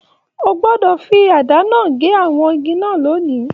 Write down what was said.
O gbọdọ fí àdá náà gé àwọn igi náà lónì!